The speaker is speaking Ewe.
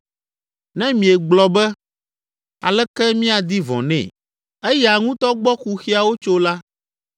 “Ne miegblɔ be, ‘Aleke míadi vɔ̃ nɛ? Eya ŋutɔ gbɔ kuxiawo tso’ la,